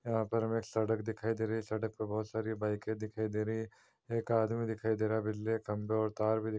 यहाँ पर हमें एक सड़क दिखाई दे रही है। सड़क पे बोहोत सारी बाइकें दिखाई दे रही हैं। एक आदमी दिखाई दे रहा है। बिजलियाँ खंभें और तार भी --